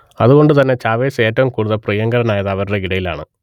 അതുകൊണ്ടുതന്നെ ചാവേസ് ഏറ്റവും കൂടുതൽ പ്രിയങ്കരനായത് അവരുടെ ഇടയിലാണ്